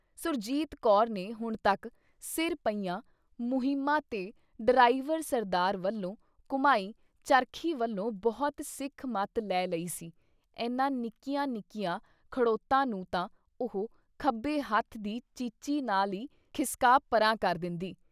ਸੁਰਜੀਤ ਕੌਰ ਨੇ ਹੁਣ ਤੱਕ ਸਿਰ ਪਈਆਂ ਮੁਹਿੰਮਾ ਤੇ ਡਰਾਇਵਰ ਸਰਦਾਰ ਵੱਲੋਂ ਘੁੰਮਾਈ ਚਰਖੀ ਵੱਲੋਂ ਬਹੁਤ ਸਿੱਖ ਮੱਤ ਲੈ ਲਈ ਸੀ- ਐਨਾ ਨਿੱਕੀਆਂ-ਨਿੱਕੀਆਂ ਖੜ੍ਹੋਤਾਂ ਨੂੰ ਤਾਂ ਉਹ ਖੱਬੇ ਹੱਥ ਦੀ ਚੀਚੀ ਨਾਲ ਈ ਖਿਸਕਾ ਪਰ੍ਹਾਂ ਕਰ ਦਿੰਦੀ।